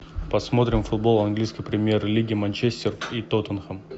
посмотрим футбол английской премьер лиги манчестер и тоттенхэм